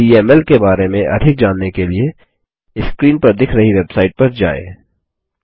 DML के बारे में अधिक जानने के लिए स्क्रीन पर दिख रही वेबसाइट पर जाएँ